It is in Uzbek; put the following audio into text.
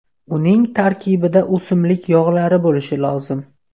Uning tarkibida o‘simlik yog‘lari bo‘lishi lozim.